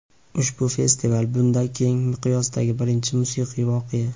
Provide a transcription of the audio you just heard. Ushbu festival – bunday keng miqyosdagi birinchi musiqiy voqea.